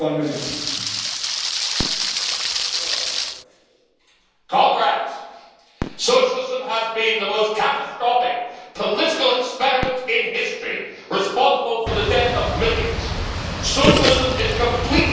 Mr President, comrades, socialism has been the most catastrophic political experiment in history, responsible for the deaths of millions. Socialism is completely unnatural to mankind.